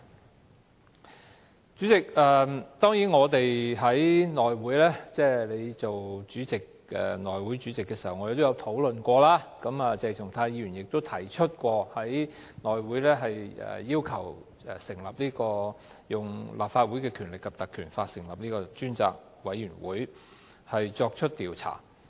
代理主席，我們在由你出任主席的內務委員會會議上亦曾討論此事，而鄭松泰議員亦有要求根據《立法會條例》成立專責委員會作出調查。